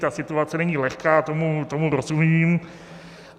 Ta situace není lehká, tomu rozumím.